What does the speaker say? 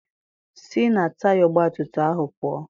Sị na taya ọgbatumtum ahụ pụọ!